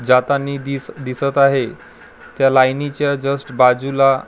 जातानी दिस दिसत आहे त्या लाईनीच्या जस्ट बाजूला एक ला--